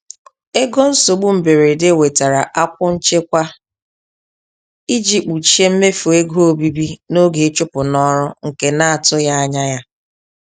Ego nsogbu mberede wetara akwụ nchekwa iji kpuchie mmefu ego obibi n'oge ịchụpụ n'ọrụ nke na-atụghị anya ya.